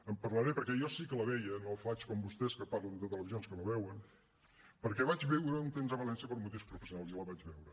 en parlaré perquè jo sí que la veia no faig com vostès que parlen de televisions que no veuen perquè vaig viure un temps a valència per motius professionals i la vaig veure